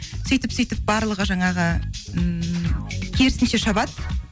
сөйтіп сөйтіп барлығы жаңағы ммм керісінше шабады